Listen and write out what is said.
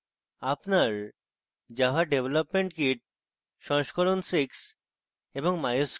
আপনার java development kit jdk v6